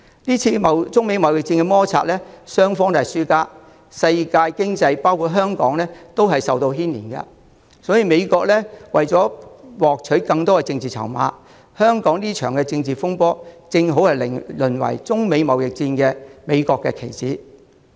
這次中美貿易戰，中美雙方都是輸家，世界經濟都受到牽連。美國想獲取更多的政治籌碼，香港這場政治風波便正好淪為美國在中美貿易戰中的棋子。